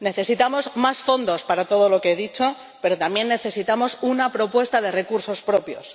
Necesitamos más fondos para todo lo que he dicho, pero también necesitamos una propuesta sobre los recursos propios.